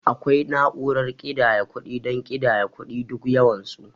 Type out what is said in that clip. Akwai na'urar kiɗaya kuɗi don ƙidaya kuɗi duk yawan su.